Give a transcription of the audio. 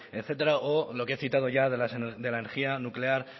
etcétera o lo que he citado ya de la energía nuclear